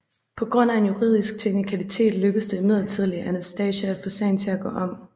På grund af en juridisk teknikalitet lykkedes det imidlertid Anastasia at få sagen til at gå om